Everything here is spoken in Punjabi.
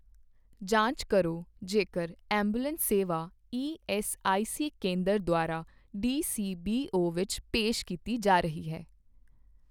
ਜਾਂਚ ਕਰੋ ਜੇਕਰ ਐਂਬੂਲੈਂਸ ਸੇਵਾ ਈਐੱਸਆਈਸੀਕੇਂਦਰ ਦੁਆਰਾ ਡੀਸੀਬੀਓ ਦੇ ਵਿੱਚ ਪੇਸ਼ ਕੀਤੀ ਜਾ ਰਹੀ ਹੈ।